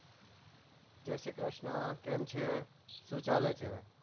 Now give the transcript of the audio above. જય શ્રી ક્રિષ્ના કેમ છે શું ચાલે છે